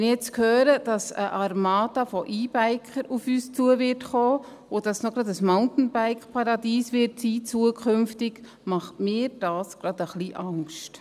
Wenn ich jetzt höre, dass eine Armada von E-Bikern auf uns zukommen und dass es zudem künftig auch noch ein Mountainbike-Paradies sein wird, macht mir dies gerade ein wenig Angst.